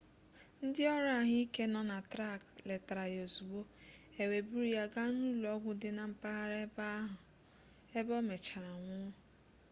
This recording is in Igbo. ndị ọrụ ahụike nọ na trak letara ya ozugbo e wee buru ya gaa n'ụlọ ọgwụ dị na mpaghara ahụ ebe ọ mechara nwụọ